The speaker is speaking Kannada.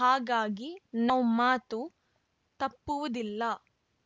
ಹಾಗಾಗಿ ನಾವು ಮಾತು ತಪ್ಪುವುದಿಲ್ಲ